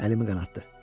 Əlimi qanatdı.